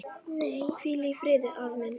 Hvíl í friði, afi minn.